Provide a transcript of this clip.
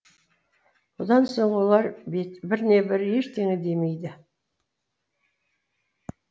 бұдан соң олар біріне бірі ештеңе демейді